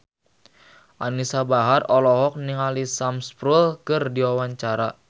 Anisa Bahar olohok ningali Sam Spruell keur diwawancara